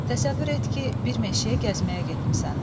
Təsəvvür et ki, bir meşəyə gəzməyə getmisən.